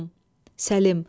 Səlim.